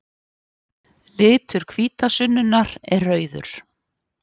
Litur hvítasunnunnar er rauður.